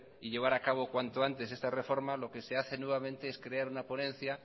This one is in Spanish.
y llevar a cabo cuanto antes esta reforma lo que se hace nuevamente es crear una ponencia